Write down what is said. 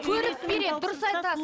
көрік береді дұрыс айтасыз